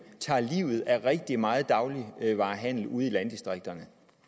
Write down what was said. tager livet af rigtig meget dagligvarehandel ude i landdistrikterne